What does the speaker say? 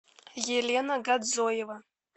елена гадзоева